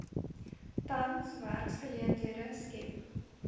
tans werksgeleenthede skep